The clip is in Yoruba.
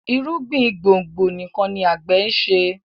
irúgbìn gbòngbò nìkàn ní agbe nṣe